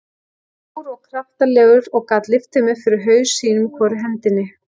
Stór og kraftalegur og gat lyft þeim upp fyrir haus, sínum í hvorri hendinni.